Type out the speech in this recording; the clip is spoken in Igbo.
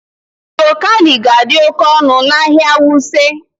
Broccoli ga-adị oke ọnụ n'ahịa Wuse